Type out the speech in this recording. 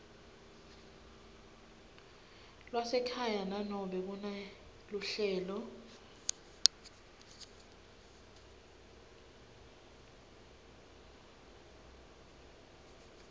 lwasekhaya nanobe kuneluhlelo